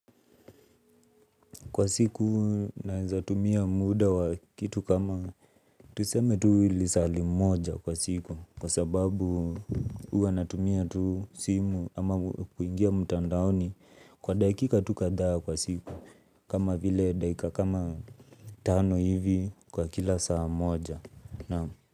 Kwa siku naweza tumia muda wa kitu kama tuseme tu lisaa limoja kwa simu kwa sababu huwa natumia tu simu ama kuingia mutandaoni kwa dakika tu kadhaa kwa siku kama vile daika kama tano hivi kwa kila saa moja.